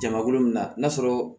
Jamakulu min na n'a sɔrɔ